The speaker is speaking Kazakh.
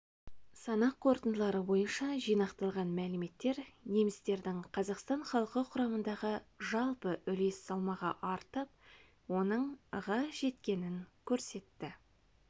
санақ қорытындылары бойынша жинақталған мәліметтер немістердің қазақстан халқы құрамындағы жалпы үлес салмағы артып оның ға жеткенін көрсетті